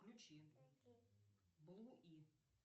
включи блу и